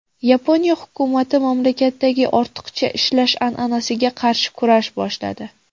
Yaponiya hukumati mamlakatdagi ortiqcha ishlash an’anasiga qarshi kurash boshladi.